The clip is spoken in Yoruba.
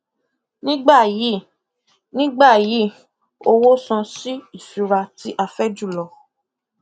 nígbà yìí nígbà yìí owó san sí ìṣura tí a fẹ jùlọ